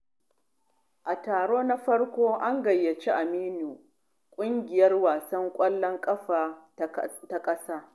A karo na farko, an gayyaci Aminu ƙungiyar wasan ƙwallon ƙafa ta ƙasa.